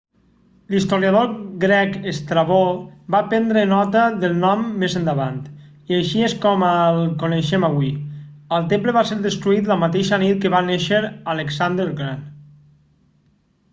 l'historiador grec estrabó va prendre nota del nom més endavant i així és com el coneixem avui el temple va ser destruït la mateixa nit que va néixer alexandre el gran